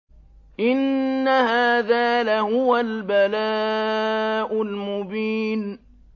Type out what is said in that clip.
إِنَّ هَٰذَا لَهُوَ الْبَلَاءُ الْمُبِينُ